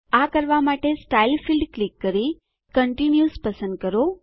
આ કરવા માટે સ્ટાઇલ ફીલ્ડ ક્લિક કરી કન્ટિન્યુઅસ પસંદ કરો